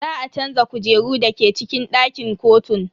Za a canza kujeru dake cikin dakin kotun.